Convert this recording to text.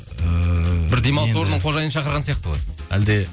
ііі бір демалыс орынның қожайыны шақырған сияқты ғой әлде